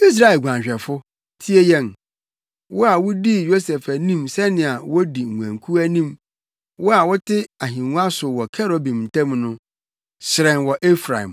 Israel guanhwɛfo, tie yɛn, wo a wudii Yosef anim sɛnea wodi nguankuw anim; wo a wote ahengua so wɔ kerubim ntam no, hyerɛn